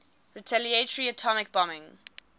retaliatory atomic bombing